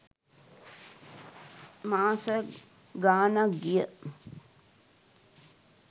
මාස ගාණක් ගිය